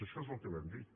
això és el que vam dir